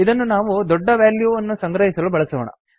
ಇದನ್ನು ನಾವು ದೊಡ್ಡ ವ್ಯಾಲ್ಯೂವನ್ನು ಸಂಗ್ರಹಿಸಲು ಬಳಸೋಣ